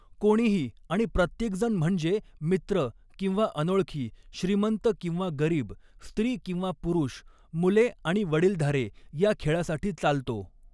कोणीही आणि प्रत्येकजण म्हणजे मित्र किंवा अनोळखी, श्रीमंत किंवा गरीब, स्त्री किंवा पुरुष, मुले आणि वडीलधारे या खेळासाठी चालतो.